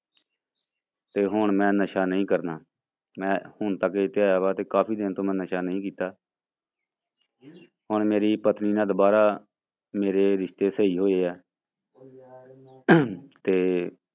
ਤੇ ਹੁਣ ਮੈਂ ਨਸ਼ਾ ਨਹੀਂ ਕਰਨਾ, ਮੈਂ ਹੁਣ ਤਾਂ ਇਹ ਧਿਆਇਆ ਵਾ ਤੇ ਕਾਫ਼ੀ ਦਿਨ ਤੋਂ ਮੈਂ ਨਸ਼ਾ ਨਹੀਂ ਕੀਤਾ ਹੁਣ ਮੇਰੀ ਪਤਨੀ ਨਾਲ ਦੁਬਾਰਾ ਮੇਰੇ ਰਿਸ਼ਤੇ ਸਹੀ ਹੋਏ ਆ ਤੇ